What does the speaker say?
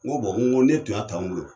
N ko n ko n'i e tun y' a t'anw bolo